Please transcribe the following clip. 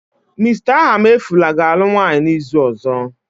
Mr. Ahamefula ga-alụ nwunye n'izu ọzọ